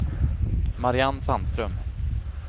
Marianne Sandström